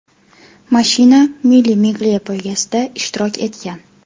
Mashina Mille Miglia poygasida ishtirok etgan.